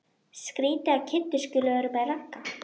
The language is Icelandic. Skrýtið að Kiddi skuli vera með Ragga.